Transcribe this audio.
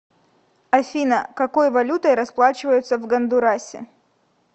афина какой валютой расплачиваются в гондурасе